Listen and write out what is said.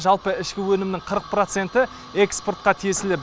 жалпы ішкі өнімнің қырық проценті экспортқа тиесілі